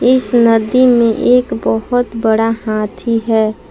इस नदी में एक बहुत बड़ा हाथी है।